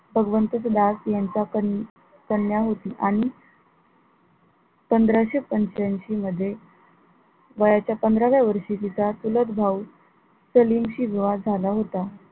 भगवंत दास यांचा कन कन्या होती आणि पंधराशे पंच्यांशी मध्ये वयाच्या पंधराव्या वर्षी तिचा चुलत भाऊ सलीम शी विवाह झाला होता.